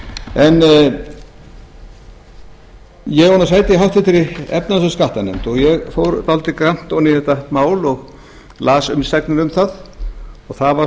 en ég á nú sæti í háttvirtri efnahags og skattanefnd og ég fór dálítið grannt ofan í þetta mál og las umsagnir um það og það var